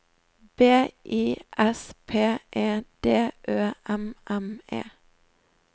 B I S P E D Ø M M E